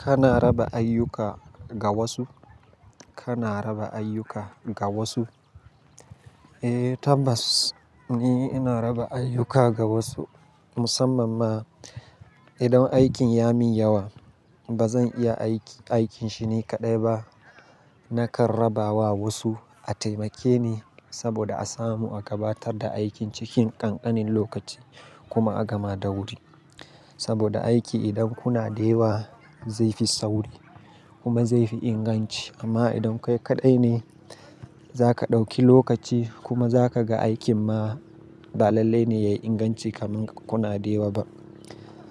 Kana raba ayyuka ga wasu? Kana raba ayyuka ga wasu? Eh, tabbas ni ina raba ayyuka ga wasu. Musamman ma idan aikin ya min yawa ba zan iya aiki, aikin shi ni kaɗai ba. Nakan raba wa wasu a taimake ni saboda a samu a gabatar da aikin cikin ƙanƙanin lokaci kuma a gama da wuri. Saboda aiki idan kuna da yawa zai fi sauri kuma zai fi inganci. Amma idan kai kaɗai ne za ka ɗauki lokaci kuma za ka ga aikin ma ba lallai ne ya yi inganci kaman in kuna da yawa ba.